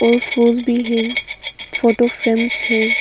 और फूल भी है फोटो फ्रेम्स है।